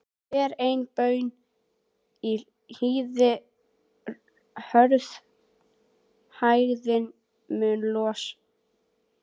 Hver ein baun í hýði hörð hægðirnar mun losa.